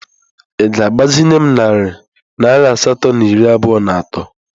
Ị ga-agbazinye m narị naira asatọ na iri abụọ na atọ?